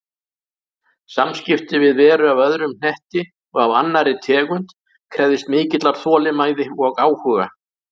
Samskipti við veru af öðrum hnetti og af annarri tegund krefðist mikillar þolinmæði og áhuga.